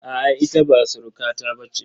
A'a, ita ba surukata ba ce.